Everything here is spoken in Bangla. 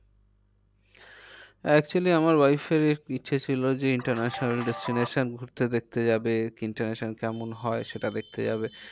Actually আমার wife এর ইচ্ছে ছিল যে international destination ঘুরতে দেখতে যাবে international কেমন হয় সেটা দেখতে যাবে।